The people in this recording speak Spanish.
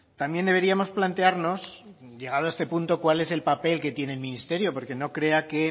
también deberíamos plantearnos llegado a este punto cuál es el papel que tiene el ministerio porque no crea que